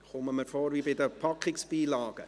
kommt mir vor wie bei den Beipackzetteln.